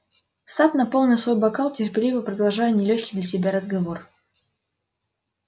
сатт наполнил свой бокал терпеливо продолжая нелёгкий для себя разговор